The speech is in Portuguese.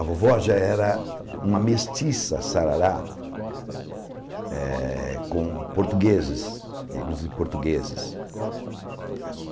A vovó já era uma mestiça sarará eh com portugueses, negros e portugueses.